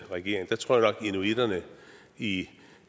inuitterne i